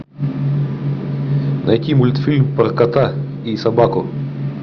найти мультфильм про кота и собаку